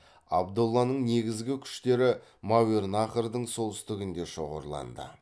абдолланың негізгі күштері мәуернахрдың солтүстігінде шоғырланды